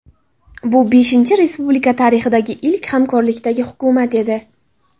Bu V respublika tarixidagi ilk hamkorlikdagi hukumat edi.